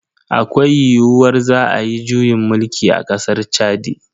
Akwai yiyuwar za ayi juyin mulki a kasar Chadi.